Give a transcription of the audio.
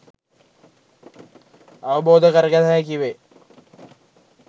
අවබෝධ කරගත හැකි වේ.